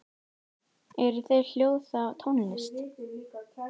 eru þau hljóð þá tónlist